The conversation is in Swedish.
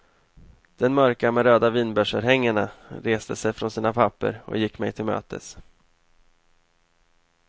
Den mörka med röda vinbärsörhängena reste sig från sina papper och gick mig till mötes.